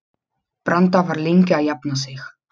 Branda var lengi að jafna sig.